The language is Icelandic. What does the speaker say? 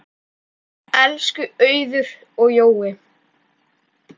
Elsku Auður og Jói.